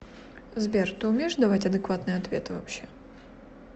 сбер ты умеешь давать адекватные ответы вообще